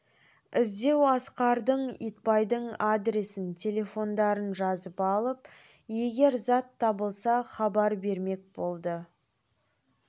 іздеу асқардың итбайдың адресін телефондарын жазып алып егер зат табылса хабар бермек болды